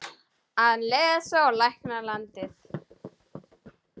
Að lesa og lækna landið.